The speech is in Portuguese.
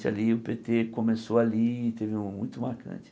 O Pê Tê começou ali, e teve um muito marcante.